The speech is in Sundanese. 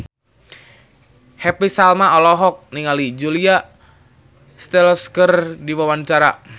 Happy Salma olohok ningali Julia Stiles keur diwawancara